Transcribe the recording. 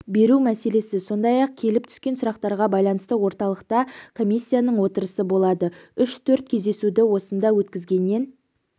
беру мәселесі сондай-ақ келіп түскен сұрақтарға байланысты орталықта комиссияның отырысы болады үш-төрт кездесуді осында өткізгеннен